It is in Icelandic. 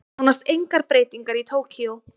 Nánast engar breytingar í Tókýó